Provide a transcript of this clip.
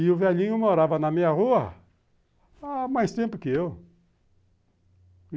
E o velhinho morava na minha rua há mais tempo que eu.